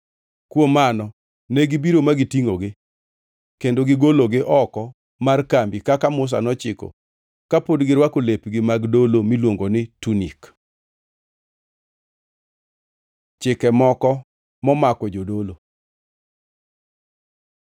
Kuom mano negibiro ma gitingʼogi kendo gigologi oko mar kambi kaka Musa nochiko kapod girwako lepgi mag dolo miluongo ni tunik. Chike moko momako jodolo